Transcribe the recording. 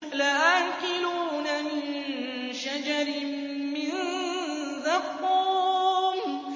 لَآكِلُونَ مِن شَجَرٍ مِّن زَقُّومٍ